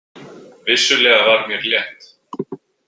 Vissulega var mér létt.